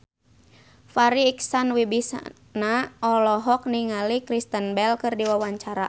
Farri Icksan Wibisana olohok ningali Kristen Bell keur diwawancara